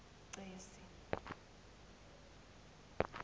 cesi